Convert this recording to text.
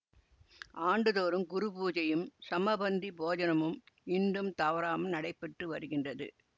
ஆண்டுதோறும் குருபூஜையும் சமபந்தி போஜனமும் இன்றும் தவறாமல் நடைபெற்று வருகின்றது